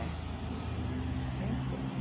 É. Bem feito.